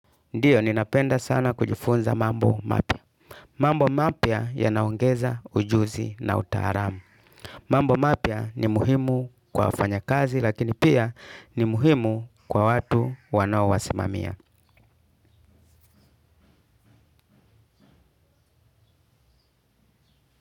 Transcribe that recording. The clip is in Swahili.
Ndio ninapenda sana kujifunza mambo mapya. Mambo mapya yanaongeza ujuzi na utaaram. Mambo mapya ni muhimu kwa mfanya kazi lakini pia ni muhimu kwa watu wanawao wasimamia.